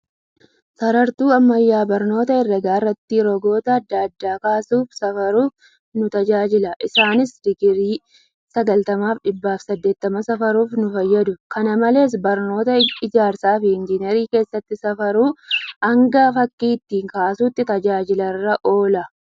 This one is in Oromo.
Sarartuu ammayyaa barnoota hereega irratti rogoota adda addaa kaasuufi safaruuf nu tajaajila. Isaaniis digirii 90 fi 180 safaruuf nu fayyadu. kana malees, barnoota Ijaarsaa fi Enjinarii keessatti safaruu hanga fakkii ittiin kaasutti tajaajila irra oola.